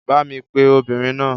Bá mi pe obìnrin náà.